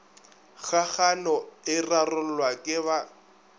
kgagano e rarollwa ke ba